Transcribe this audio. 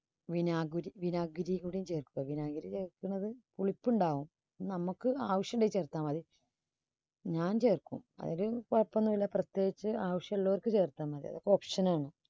വിനാഗിരി~വിനാഗിരി കൂടി ചേർക്കുക. വിനാഗിരി ചേർക്കുന്നത് പുളിപ്പുണ്ടാവും. നമ്മക്ക് ആവശ്യമുണ്ടെങ്കിൽ ചേർത്താൽ മതി. ഞാൻ ചേർക്കും അല്ലെങ്കിൽ കൊഴപ്പം ഒന്നൂല്ല പ്രത്യേകിച്ച് ആവശ്യള്ളവർക്ക് ചേർത്താൽ മതി. അതൊക്കെ option ആണ്.